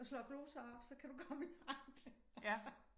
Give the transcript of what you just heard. Og slår gloser op så kan du komme langt altså